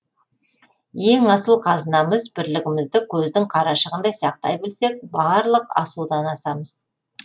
ең асыл қазынамыз бірлігімізді көздің қарашығындай сақтай білсек барлық асудан асамыз